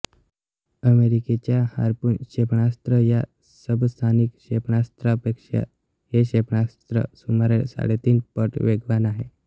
अमेरिकेच्या हार्पून क्षेपणास्त्र या सबसॉनिक क्षेपणास्त्रापेक्षा हे क्षेपणास्त्र सुमारे साडेतीन पट वेगवान आहे